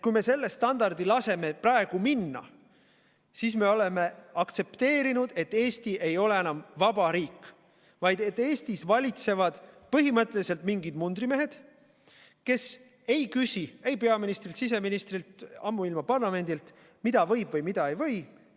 Kui me selle standardi laseme praegu minna, siis me oleme aktsepteerinud, et Eesti ei ole enam vaba riik, vaid et Eestis valitsevad põhimõtteliselt mingid mundrimehed, kes ei küsi ei peaministrilt, siseministrilt, ammuilma parlamendilt, mida võib ja mida ei või.